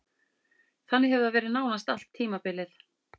Þannig hefur það verið nánast allt tímabilið.